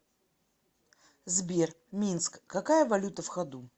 сбер минск какая валюта в ходу